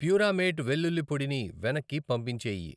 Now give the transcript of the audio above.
ప్యూరామేట్ వెల్లుల్లి పొడి ని వెనక్కి పంపించేయి.